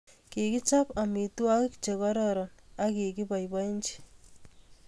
Kikichop amitwogik che kororon ak kikiboibochi